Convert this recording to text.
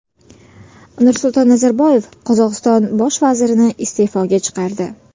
Nursulton Nazarboyev Qozog‘iston bosh vazirini iste’foga chiqardi.